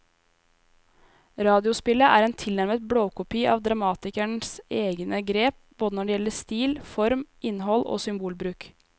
Radiospillet er en tilnærmet blåkopi av dramatikerens egne grep både når det gjelder stil, form, innhold og symbolbruk.